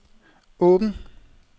åben